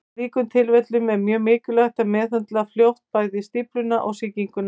Í slíkum tilfellum er mjög mikilvægt að meðhöndla fljótt bæði stífluna og sýkinguna.